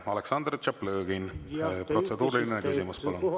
Aleksandr Tšaplõgin, protseduuriline küsimus, palun!